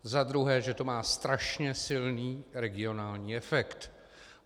Za druhé, že to má strašně silný regionální efekt.